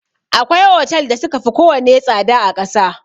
Akwai otal da suka fi ko wane tsada a ƙasa.